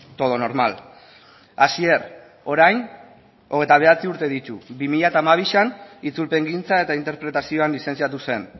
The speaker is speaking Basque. todo normal asier orain hogeita bederatzi urte ditu bi mila hamabi itzulpengintza eta interpretazioan lizentziatu zen